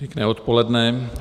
Pěkné odpoledne.